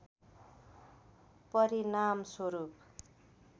परिणामस्वरूप